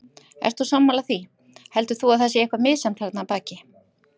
Ert þú sammála því, heldur þú að það sé eitthvað misjafnt þarna að baki?